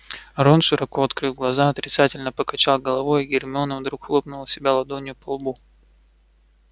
рон широко открыв глаза отрицательно покачал головой а гермиона вдруг хлопнула себя ладонью по лбу